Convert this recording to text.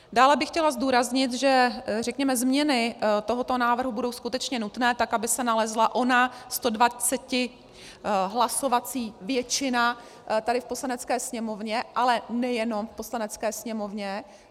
Dále bych chtěla zdůraznit, že, řekněme, změny tohoto návrhu budou skutečně nutné, tak aby se nalezla ona 120 hlasovací většina tady v Poslanecké sněmovně, ale nejenom v Poslanecké sněmovně.